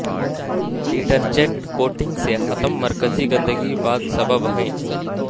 detergent coating سے ختم مرکزی گندگی بعد سبب ہیں